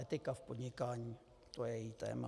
Etika v podnikání, to je její téma.